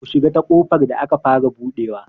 Ku shiga ta ƙofar da aka fara buɗewa!